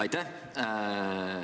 Aitäh!